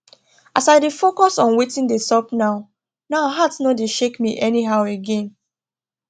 as i dey focus on watin dey sup now now heart nor dey shake me anyhow again